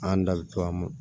An da bi to a ma